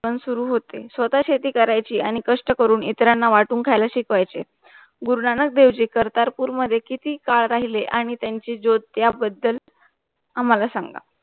पण सुरू होते. स्वतः शेती करायची आणि कष्ट करून इतरांना वाटून खायला शिकवायचे. गुरुनानक देवजी कर्तारपूर मध्ये किती काळ राहिले आणि त्यांची ज्योत त्या बदद्ल आम्हाला सांगा